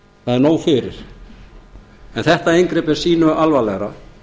það er nóg fyrir en þetta inngrip er sýnu alvarlegra